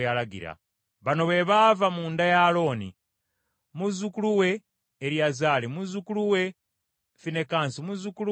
Bano be baava mu nda ya Alooni: mutabani we Eriyazaali, muzzukulu we Finekaasi, muzzukulu we Abisuwa,